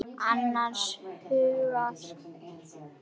Ég er annars hugar.